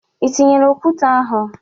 Ị tinyere okwute ahụ?